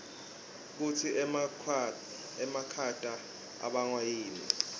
kutsi emakhata abangwa yini